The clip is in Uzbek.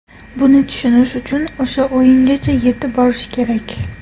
Buni tushunish uchun o‘sha o‘yingacha yetib borish kerak.